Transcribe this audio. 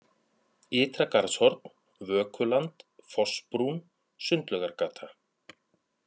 Ytra-Garðshorn, Vökuland, Fossbrún, Sundlaugargata